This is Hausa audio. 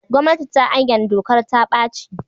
Gwamnati ta ayyana dokar ta-ɓaci.